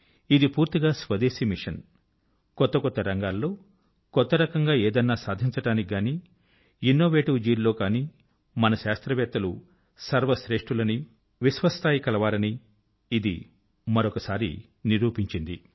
ఇది పూర్తిగా స్వదేశీ మిషన్ కొత్త కొత్త రంగాల్లో కొత్త రకంగా ఏదన్నా సాధించడానికి గానీ ఇనొవేటివ్ జీల్ లో గానీ మన శాస్త్రవేత్తలు సర్వ శ్రేష్ఠులని విశ్వస్తరీయులనీ ఇది మరొకసారి నిరూపించింది